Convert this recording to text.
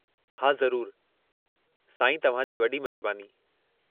हा, ज़रूरु, साईं, तव्हां जी वॾी महिरबानी।